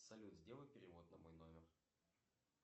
салют сделай перевод на мой номер